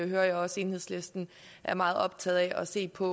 jeg også enhedslisten er meget optaget af at se på